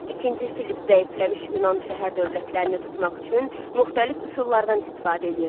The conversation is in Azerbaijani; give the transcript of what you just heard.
İkinci Filipp zəifləmiş Yunan şəhər dövlətlərini tutmaq üçün müxtəlif üsullardan istifadə eləyirdi.